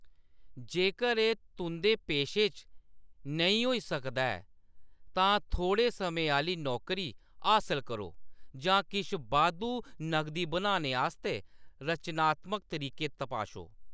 जेकर एह्‌‌ तुंʼदे पेशे च नेईं होई सकदा ऐ, तां थोह्‌ड़े समें आह्‌ली नौकरी हासल करो जां किश बाद्धू नगदी बनाने आस्तै रचनात्मक तरीके तपाशो।